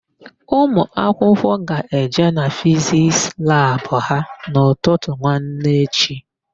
Ụmụakwụkwọ ga-eje na Fiziks labụ ha n'ụtụtụ nwanne echi.